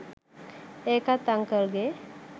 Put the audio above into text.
ඒකත් අංකල්ගෙ